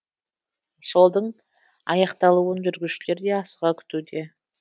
жолдың аяқталуын жүргізушілер де асыға күтуде